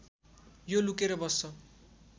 यो लुकेर बस्छ